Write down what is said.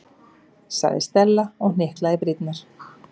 sagði Stella og hnyklaði brýnnar.